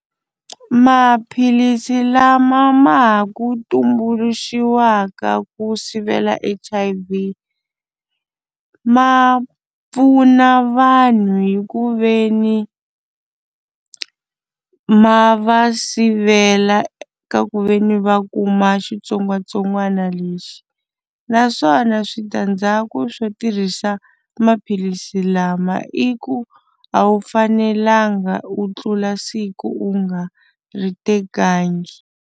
Maphilisi lama ma ha ku tumbuluxiwaka ku sivela H_I_V ma pfuna vanhu hi ku ve ni ma va sivela eka ku ve ni va kuma xitsongwatsongwana lexi naswona switandzhaku swo tirhisa maphilisi lama i ku a wu fanelanga u tlula siku u nga ri tekangi.